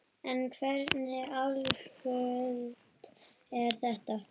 En hversu algengt er það?